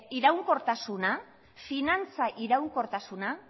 iraunkortasuna finantza iraunkortasuna